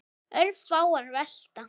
Örfáar velta.